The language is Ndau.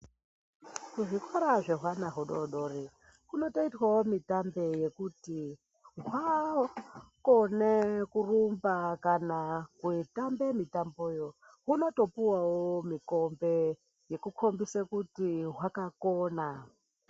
Zvikora , zvehwana hudodori, kumotoitwawo mitambe yekuti hwakone kurumba kana kutambe mitambeyo huno topiwawo mu kombe kukombise kuti hwakakona.